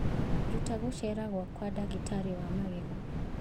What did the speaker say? Ruta gũceera gwakwa ndagĩtarĩ wa magego